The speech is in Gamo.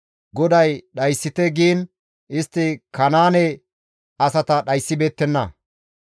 GODAY dhayssite giin istti Kanaane asata dhayssibeettenna.